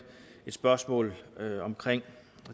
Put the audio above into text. et spørgsmål